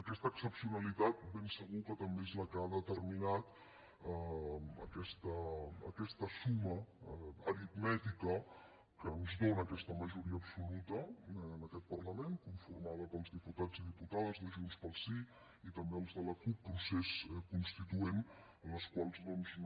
aquesta excepcionalitat ben segur que també és la que ha determinat aquesta suma aritmètica que ens dóna aquesta majoria absoluta en aquest parlament conformada pels diputats i diputades de junts pel sí i també els de la cup crida constituent els quals doncs no